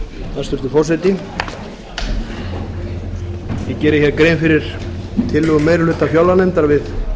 hæstvirtur forseti ég geri grein fyrir tillögu meiri hluta fjárlaganefndar við frumvarp